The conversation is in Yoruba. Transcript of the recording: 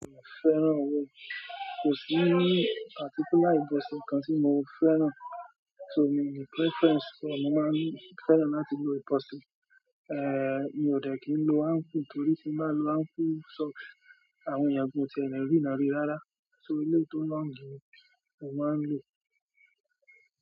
Mo fẹ́ràn owó. Kò sí particular nǹkan tí mo fẹ́ràn. So miì ni preference so mo máa ń fẹ́ràn láti lo ìbọ̀sẹ̀. Eh, mi ò dẹ̀ kí n lo ankle torí tí bá lo ankle socks, àwọn èèyàn gan-an ò tiẹ̀ ní rína ríi rárá. So ilé tó long mo máa ń lò.